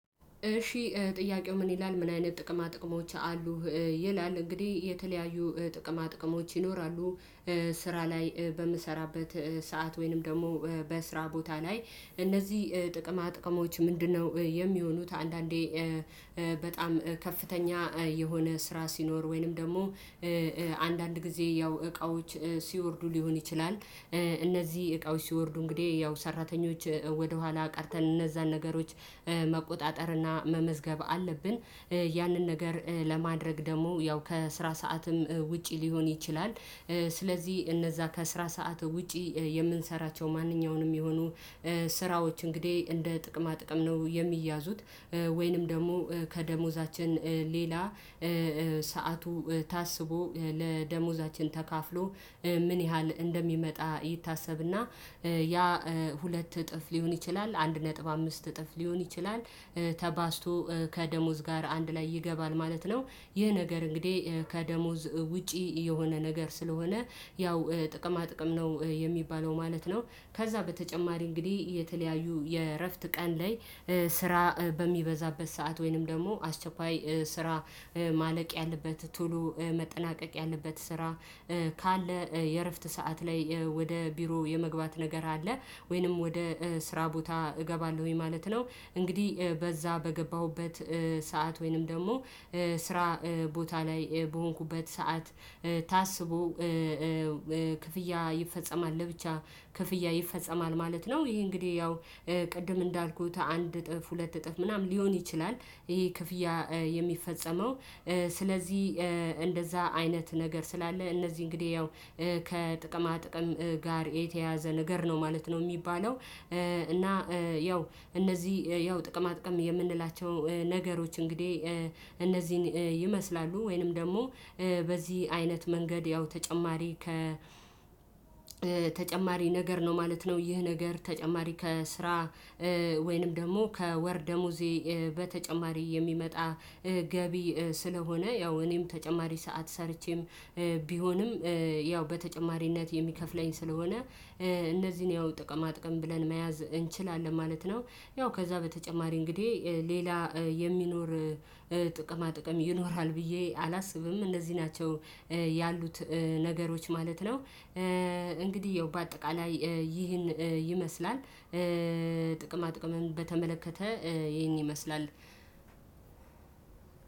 እሺ ጥያቄው ምን ይላል ምን አይነት ጥቅማ ጥቅሞች አሉ? ይላል እንግዲህ የተለያዩ ጥቅማ ጥቅሞች ይኖራሉ። ስራ ላይ በምሰራበት ሰዓት ወይንም ደግሞ በስራ ቦታ ላይ እነዚህ ጥቅማ ጥቅሞች ምንድነው የሚሆኑት? አንዳንዴ በጣም ከፍተኛ የሆነ ስራ ሲኖር ወይንም ደግሞ አንዳንድ ጊዜ ያው እቃዎች ሲወርዱ ሊሆን ይችላል። እነዚህ እቃዎች ሲወርዱ እንግዲህ ያው ሰራተኞች ወደኋላ ቀርተን እነዛን ነገሮች መቆጣጠርና መመዝገብ አለብን። ያንን ነገር ለማድረግ ደግሞ ያው ከስራ ሰዓትም ውጪ ሊሆን ይችላል። ስለዚ እነዛ ከስራ ሰዓት ውጪ የምንሰራቸው ማንኛውንም ሚሆኑ ስራዎች እንግዴ እንደ ጥቅማ ጥቅም ነው የሚያዙት። ወይንም ደሞ ከደሞዛችን ሌላ ሰዓቱ ታስቦ ለደሞዛችን ተካፍሎ ምን ያህል እንደሚመጣ ይታሰብና ያ ሁለት እጥፍ ሊሆን ይችላል አንድ ነጥብ አምስት እጥፍ ሊሆን ይችላል። ተባዝቶ ከደሞዝ ጋር አንድ ላይ ይገባል ማለት ነው። ይህ ነገር እንግዴ ከደሞዝ ውጪ የሆነ ነገር ስለሆነ ያው ጥቅማ ጥቅም ነው የሚባለው ማለት ነው። ከዛ በተጨማሪ እንግዲ የተለያዩ የእረፍት ቀን ላይ ስራ በሚበዛበት ሰዓት ወይንም ደሞ አስቸኳይ ስራ ማለቅ ያለበት ቶሎ መጠናቀቅ ያለበት ስራ። ስለዚህ እነዛ ከስራ ሰዓት ውጪ የምንሰራቸው ማንኛውንም የሚሆኑ ስራዎች እንግዲህ እንደ ጥቅማ ጥቅም ነው የሚያዙት ወይንም ደግሞ ከደሞዛችን ሌላ ሰዓቱ ታስቦ ለደሞዛችን ተካፍሎ ምን ያህል እንደሚመጣ ይታሰብና የክፍያ የሚፈጸመው ስለዚህ እንደዛ አይነት ነገር ስላለ እነዚህ እንግዲህ ያው ከጥቅማ ጥቅም ጋር የተያዘ ነው ነገር ነው የሚባለው። እና ያው እነዚህ ያው ጥቅማ ጥቅም የምንላቸው ነገሮች። እነዚህን እንግዲህ ይመስላሉ ወይንም ደግሞ በዚህ አይነት መንገድ ያው ተጨማሪ ተጨማሪ ነገር ነው ማለት ነው። ይህ ነገር ተጨማሪ ከስራ ወይንም ደሞ ከወር ደሞዜ በተጨማሪ የሚመጣ ገቢ ስለሆነ ያው እኔም ተጨማሪ ሰዓት ሰርቼም ቢሆንም ያው በተጨማሪነት የሚከፍለኝ ስለሆነ እነዚን ያው ጥቅማ ጥቅም ብለን መያዝ እንችላለን ማለት ነው። ያው ከዛ በተጨማሪ እንግዴ ሌላ የሚኖር ጥቅማ ጥቅም ይኖራል ብዬ አላስብም እነዚ ናቸው ያሉት ነገሮች ማለት ነው። እንግዲ ያው በአጠቃላይ ይህን ይመስላል ጥቅማ ጥቅምን በተመለከተ ይሄን ይመስላል።